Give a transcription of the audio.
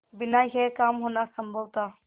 बिना यह काम होना असम्भव था